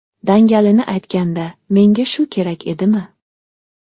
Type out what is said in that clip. Dangalini aytganda, menga shu kerak edimi?